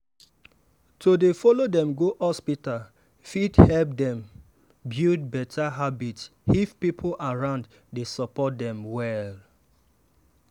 to dey follow dem go hospital fit help dem build better habit if people around dey support dem well.